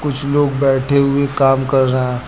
कुछ लोग बैठे हुए काम कर रहे हैं।